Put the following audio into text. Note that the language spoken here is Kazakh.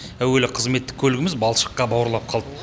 әуелі қызметтік көлігіміз балшыққа бауырлап қалды